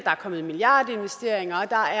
er kommet milliardinvesteringer og at der